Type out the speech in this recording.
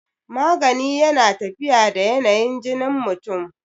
magani yana tafiya da yanayin jinin mutum